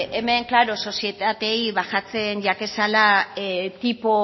hemen klaro sozietateei bajatzen jakezala